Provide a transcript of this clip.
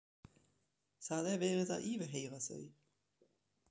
Það er verið að yfirheyra þau.